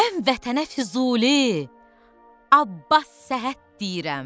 Mən Vətənə Füzuli, Abbas Səhhət deyirəm.